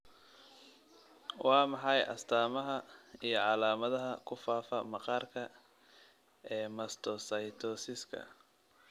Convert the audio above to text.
Waa maxay astamaha iyo calaamadaha kufafa maqaarka ee mastocytosiska?